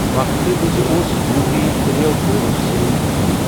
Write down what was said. وَقفَس وِزِ اوس یوٗپی ترٛیٮ۪و گولَو سۭتۍ برٛونٛہہ۔